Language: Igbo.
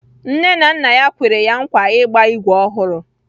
Nne na nna ya kwere ya nkwa ịgba ígwè ọhụrụ